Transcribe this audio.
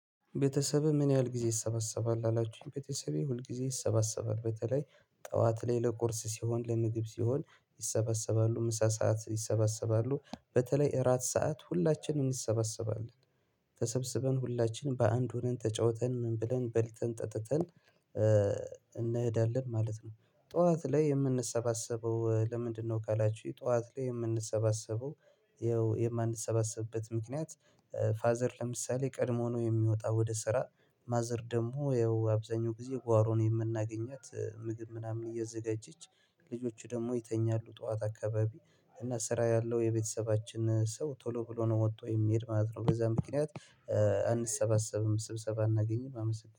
ቤተሰብህ ምን ያህል ጊዜ ይሰበሰባል? ላላችሁኝ ቤተሰቤ ሁልጊዜ ይሰባሰባል በተለይ ጠዋት ላይ ለቁርስ ሲሆን ለምግብ ሲሆን ይሰበሰባሉ ምሳ ሰዓት ይሰበሰባሉ በተለይ እራት ሰዓት ሁላችንም እንሰበሰባለን ተሰብስበን ሁላችንም በአንድ ሆነን ተጫውተን ምን ብለን በልተን ጠጥተን እንሄዳለን ማለት ነው። ጠዋት ላይ የምንሰባሰበው ለምንድነው? ካላችሁኝ ጠዋት ላይ የምንሰባሰበው ያው የማንሰባሰብበት ምክንያት። ፋዘር ለምሳሌ ቀድሞ ነው የሚወጣው ወደ ስራ ማዘር ደግሞ ያው አብዛኛው ጊዜ ጓሮን የምናገኛት ምግብ ምናምን እየዘጋጀች ልጆቹ ደግሞ ይተኛሉ ጠዋት አካባቢ እና ስራ ያለው የቤተሰባችን ሰው ቶሎ ብሎ ነው ወጥቶ የሚሄድ ማለት ነው። በዛ ምክንያት አንሰባሰብም ስብሰባ አናገኝም። አመሰግናለሁ